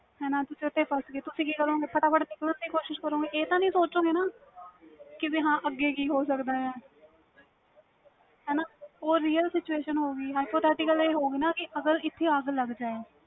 ਫਟਾਫਟ ਨਿਕਲਣ ਦੀ ਕੋਸਿਸ ਕਰੋ ਗਈ ਏ ਤਾਂ ਨਹੀਂ ਸੋਚੋ ਗੈ ਹਾਂ ਅੱਗੇ ਕੀ ਹੋ ਸਕਦਾ ਹਾਂ ਹੈ ਨਾ real situation ਹੋਵੇਗੀ hypothethical ਅਗਰ ਇਥੇ ਅੱਗ ਲੱਗ ਜਾਏ